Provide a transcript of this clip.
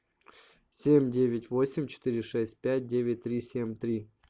семь девять восемь четыре шесть пять девять три семь три